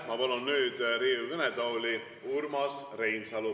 Ma palun nüüd Riigikogu kõnetooli Urmas Reinsalu.